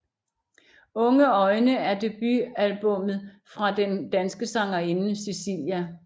Unge øjne er debutalbummet fra den danske sangerinde Cisilia